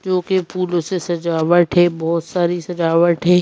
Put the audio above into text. जो कि फूलों से सजावट है बहुत सारी सजावट है।